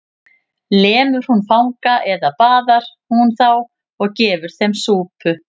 Lemur hún fanga eða baðar hún þá og gefur þeim súpu?